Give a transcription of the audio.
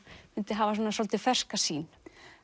mundi hafa svona svolítið ferska sýn